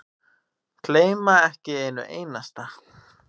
Gleyma ekki einu einasta.